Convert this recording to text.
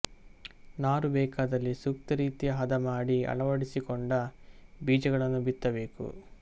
ನಾರು ಬೇಕಾದಲ್ಲಿ ಸೂಕ್ತರೀತಿಯ ಹದ ಮಾಡಿ ಅಳವಡಿಸಿಕೊಂಡ ಬೀಜಗಳನ್ನು ಬಿತ್ತಬೇಕು